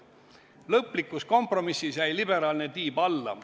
Lõplikus kompromissis jäi liberaalne tiib alla.